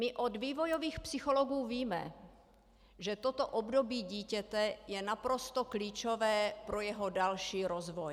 My od vývojových psychologů víme, že toto období dítěte je naprosto klíčové pro jeho další rozvoj.